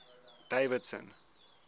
davidson